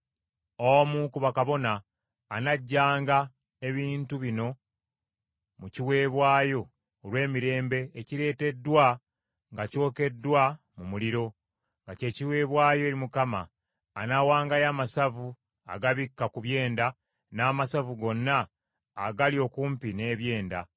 Omu ku bakabona anaggyanga ebintu bino mu kiweebwayo olw’emirembe ekireeteddwa nga kyokeddwa mu muliro, nga kye kiweebwayo eri Mukama ; anaawangayo amasavu agabikka ku byenda, n’amasavu gonna agali okumpi n’ebyenda,